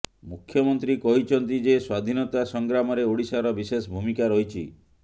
ମୁଖ୍ୟମନ୍ତ୍ରୀ କହିଛନ୍ତି ଯେ ସ୍ୱାଧୀନତା ସଂଗ୍ରାମରେ ଓଡ଼ିଶାର ବିଶେଷ ଭୂମିକା ରହିଛି